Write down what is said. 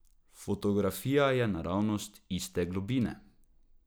Fotografija je naravnost, iste globine.